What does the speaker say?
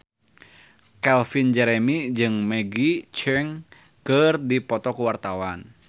Calvin Jeremy jeung Maggie Cheung keur dipoto ku wartawan